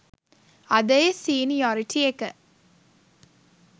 අද ඒ සීනි යොරිටි එක